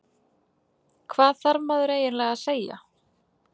Hvað þarf maður eiginlega að segja?